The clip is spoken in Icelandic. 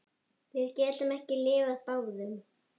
Við getum ekki lifað báðum.